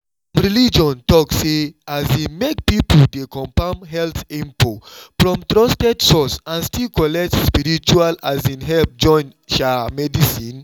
some religion talk say um make people dey confirm health info from trusted source and still collect spiritual um help join um medicine.